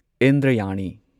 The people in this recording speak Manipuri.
ꯏꯟꯗ꯭ꯔꯥꯌꯅꯤ